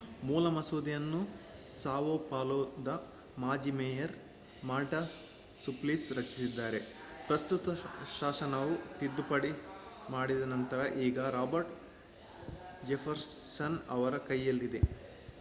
ಮೂಲ ಮಸೂದೆಯನ್ನು ಸಾವೊ ಪಾಲೊದ ಮಾಜಿ ಮೇಯರ್ ಮಾರ್ಟಾ ಸುಪ್ಲಿಸಿ ರಚಿಸಿದ್ದಾರೆ ಪ್ರಸ್ತಾವಿತ ಶಾಸನವು ತಿದ್ದುಪಡಿ ಮಾಡಿದ ನಂತರ ಈಗ ರಾಬರ್ಟೊ ಜೆಫರ್ಸನ್ ಅವರ ಕೈಯಲ್ಲಿದೆ